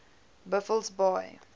buffelsbaai